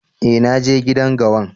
Eh, na je gidan gawan.